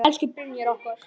Elsku Brynjar okkar.